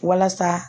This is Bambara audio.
Walasa